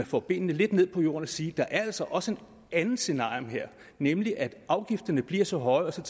får benene lidt ned på jorden og siger der er altså også et andet scenarium her nemlig at afgifterne bliver så høje